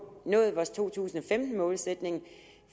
nået vores to tusind og femten målsætning